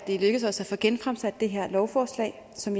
det er lykkedes os at få genfremsat det her lovforslag som